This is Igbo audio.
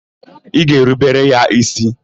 Ị ga-erubere ya ísí?